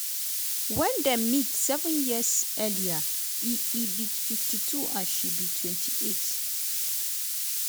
wen dem meet seven years earlier e e be 52 and she be 28.